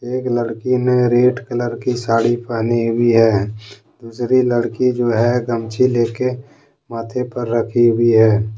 एक लड़की ने रेड कलर की साड़ी पहनी हुई है दूसरी लड़की जो है गमछी लेकर माथे पर रखी हुई है।